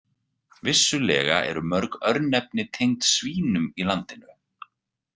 Vissulega eru mörg örnefni tengd svínum í landinu.